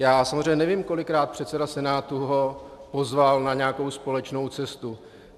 Já samozřejmě nevím, kolikrát předseda Senátu ho pozval na nějakou společnou cestu.